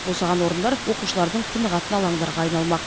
босаған орындар оқушылардың тынығатын алаңдарға айналмақ